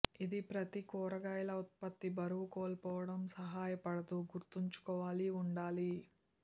ఇది ప్రతి కూరగాయల ఉత్పత్తి బరువు కోల్పోవడం సహాయపడదు గుర్తుంచుకోవాలి ఉండాలి